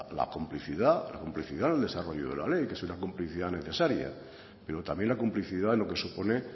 la complicidad la complicidad en el desarrollo de la ley que es una complicidad necesaria pero también la complicidad lo que supone